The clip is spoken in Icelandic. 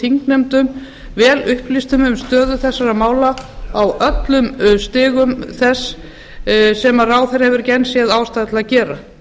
þingnefndum vel upplýstum um stöðu þessara mála á öllum stigum þeirra sem ráðherra hefur ekki enn séð ástæðu til að gera